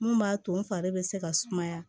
Mun b'a to n fari bɛ se ka sumaya